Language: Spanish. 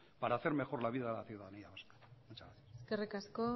para hacer mejor la vida de la ciudadanía vasca muchas gracias eskerrik asko